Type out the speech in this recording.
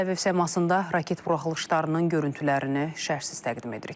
Tələbə efirasında raket buraxılışlarının görüntülərini şərhsiz təqdim edirik.